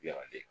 Yanni